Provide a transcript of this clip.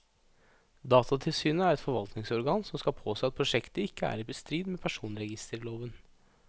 Datatilsynet er et forvaltningsorgan som skal påse at prosjektet ikke er i strid med personregisterloven.